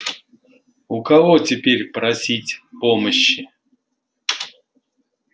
у кого теперь просить помощи